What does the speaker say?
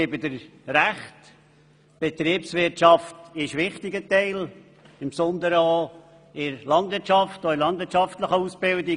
Die Betriebswirtschaft ist ein wichtiger Bereich, insbesondere in der landwirtschaftlichen Ausbildung.